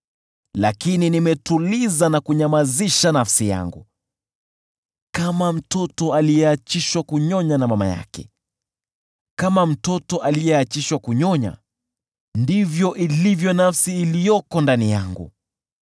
Lakini nimetuliza na kunyamazisha nafsi yangu; kama mtoto aliyeachishwa kunyonya na mama yake, kama mtoto aliyeachishwa kunyonya ndivyo ilivyo nafsi iliyoko ndani yangu.